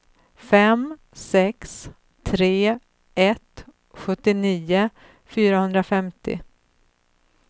fem sex tre ett sjuttionio fyrahundrafemtio